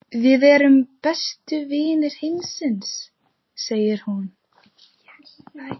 Við erum bestu vinir heimsins, segir hún.